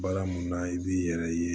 Baara mun na i b'i yɛrɛ ye